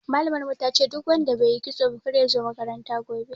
Malamar mu tace duk wanda baiyi kitso ba kar yazo makaranta gobe